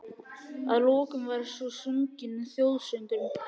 Að lokum var svo sunginn þjóðsöngurinn.